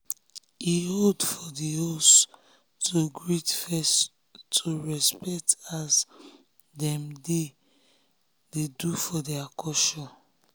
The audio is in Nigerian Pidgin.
he hold for the host um to greet first to respect as um dem dey um dey um do for their culture.